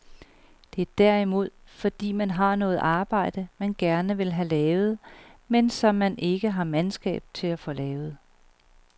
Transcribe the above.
Det er derimod, fordi man har noget arbejde, man gerne vil have lavet, men som man ikke har mandskab til at få lavet.